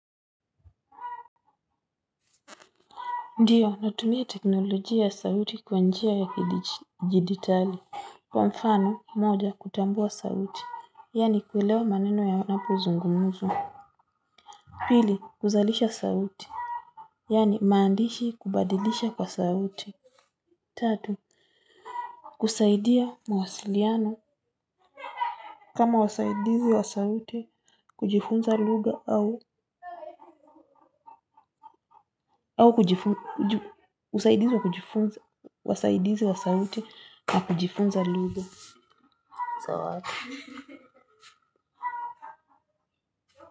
Ndiyo, natumia teknolojia ya sauti kwa njia ya kiditali. Kwa mfano, moja, kutambua sauti. Yani, kuelewa maneno yanapo zungumuzwa. Pili, kuzalisha sauti. Yani, maandishi kubadilisha kwa sauti. Tatu, kusaidia mawasiliano. Kama, wasaidizi wa sauti, kujifunza luga au kujifunza luga. Zawad.